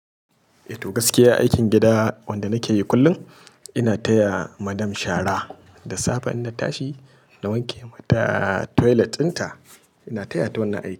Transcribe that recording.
Eh to gaskiya aikin gida wanda nake yi kullum, ina taya madam shara da safe ina tashi na wanke mata toilet dinta, ina taya ta wani aiki.